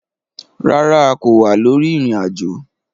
Rárá, a kò wà lórí ìrìn ajo